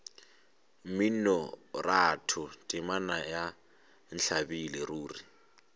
mminoratho temana ya ntlabile ruri